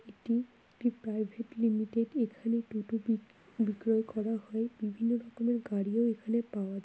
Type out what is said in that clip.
এটি একটি private limited | এখানে টোটো বিক বিক্রয় করা হয় | বিভিন্ন রকমের গাড়িও এখানে পাওয়া যায়।